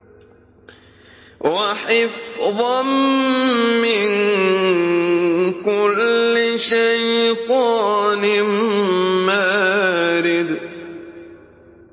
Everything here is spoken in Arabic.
وَحِفْظًا مِّن كُلِّ شَيْطَانٍ مَّارِدٍ